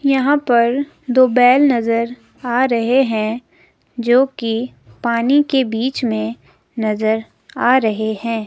यहां पर दो बैल नजर आ रहे हैं जो की पानी के बीच में नजर आ रहे हैं।